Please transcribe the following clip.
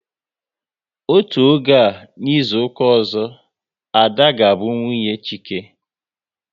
Otú oge a n'izuka ọzọ, Ada ga bụ nwunye Chike